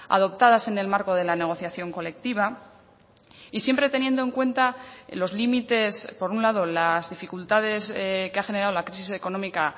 adoptadas en el marco de la negociación colectiva y siempre teniendo en cuenta los límites por un lado las dificultades que ha generado la crisis económica